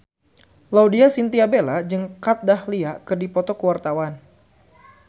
Laudya Chintya Bella jeung Kat Dahlia keur dipoto ku wartawan